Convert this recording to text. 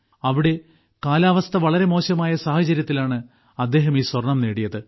അവിടെ കാലാവസ്ഥ വളരെ മോശമായ സാഹചര്യത്തിലാണ് അദ്ദേഹം ഈ സ്വർണം നേടിയത്